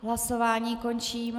Hlasování končím.